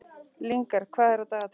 Lyngar, hvað er á dagatalinu í dag?